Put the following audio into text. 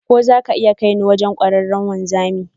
Ko za ka iya kai ni wajen kwararren wanzami?